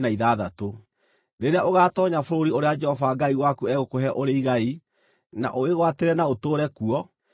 Rĩrĩa ũgaatoonya bũrũri ũrĩa Jehova Ngai waku egũkũhe ũrĩ igai, na ũwĩgwatĩre na ũtũũre kuo,